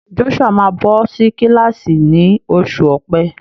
Joshua máa bọ́ sí kílàsì ni oṣù ọ̀pe.